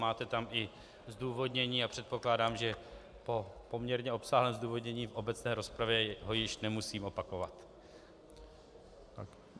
Máte tam i zdůvodnění a předpokládám, že po poměrně obsáhlém zdůvodnění v obecné rozpravě ho již nemusím opakovat.